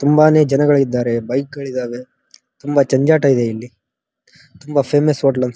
ತುಂಬಾನೇ ಜನಗಳು ಇದ್ದಾರೆ ಬೈಕ್ ಗಳು ಇದ್ದವೇ ತುಂಬಾ ಜಂಜಾಟ ಇದೆ ಇಲ್ಲಿ ತುಂಬಾ ಫೇಮಸ್ ಹೋಟೆಲ್ ಅನ್ಸುತ್ತೆ ಇದು.